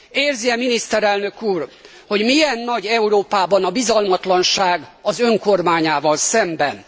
Érzi e miniszterelnök úr, hogy milyen nagy Európában a bizalmatlanság az Ön kormányával szemben?